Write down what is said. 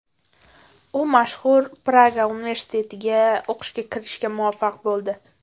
U mashhur Praga universitetiga o‘qishga kirishga muvaffaq bo‘ldi.